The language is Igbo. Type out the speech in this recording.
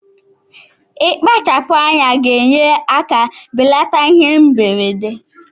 Ikpachapu anya ga enye aka belata ihe mberede.